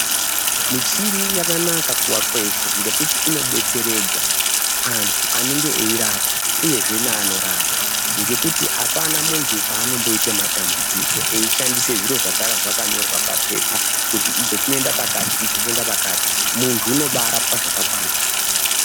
Michini yakanaka kuvakweshe ngekuti inobetseredza antu anonga eirapwa uyezve neanorapa ngekuti apana munhu paanoita matambudziko eishandisa zviro zvinenge zvakanyorwa papepa kuti icho chinoenda pakati icho chinoenda pakati .